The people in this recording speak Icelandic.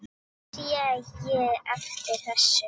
En sé ég eftir þessu?